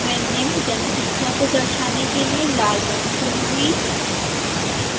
मैं निम्न जनसंख्या को दर्शाने के लिए लाल रंग चुनूंगी